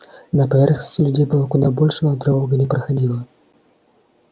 на поверхности людей было куда больше но тревога не проходила